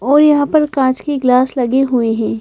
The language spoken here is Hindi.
और यहाँ पर काँच के ग्लास लगे हुए हैं।